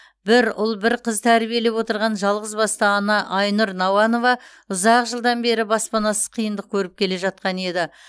бір ұл бір қыз тәрбиелеп отырған жалғызбасты ана айнұр науанова ұзақ жылдан бері баспанасыз қиындық көріп келе жатқан еді